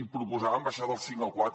i proposàvem baixar del cinc al quatre